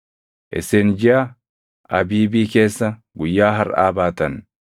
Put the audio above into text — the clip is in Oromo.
Isin jiʼa Abiibii keessa guyyaa harʼaa baatan.